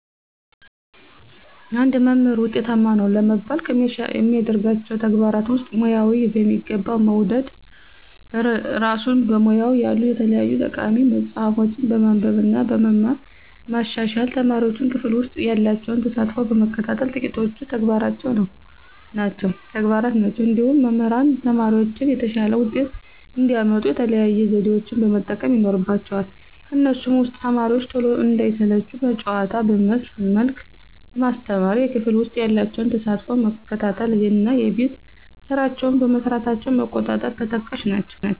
አንድ መምህር ውጤታማ ነው ለመባል ከሚያደርጋቸው ተግባራት ውስጥ፦ ሙያውን በሚገባ መውደድ፣ እራሱን በሙያው ያሉ የተለያዩ ጠቃሚ መፅሀፎችን በማንበብ እና በመማር ማሻሻል፣ ተማሪዎቹን ክፍል ውሰጥ ያላቸውን ተሳትፎ መከታተል ጥቂቶቹ ተግባራት ናቸው። እንዲሁም መምህራን ተማሪዎቻቸው የተሻለ ውጤት እንዲያመጡ የተለያዩ ዘዴዎችን መጠቀም ይኖርባቸዋል ከነሱም ውስጥ፦ ተማሪዎቹ ቶሎ እንዳይሰለቹ በጨዋታ መልክ ማስተማር፣ የክፍል ውስጥ ያላቸውን ተሳትፎ መከታተል እና የቤት ስራቸውን መስራታቸውን መቆጣጠር ተጠቃሽ ናቸው።